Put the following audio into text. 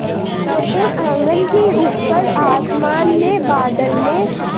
छोटे आँगन के ऊपर आसमान में बादल में